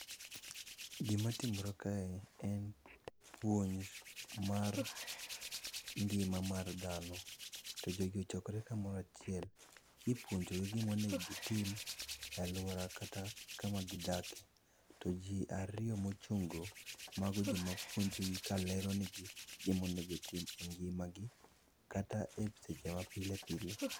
Gimatimore kae, en puonj, mar ngima mar dhano. To jogi ochokre kamoro achiel kipuonjogi gimonegi gitim e alwora kata kama gidakie. To ji ariyo mochung'go, mago joma puonjogi ka lero negi gimo onego gitim e ngimagi kata e seche ma pile pile.